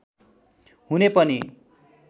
हुने पनि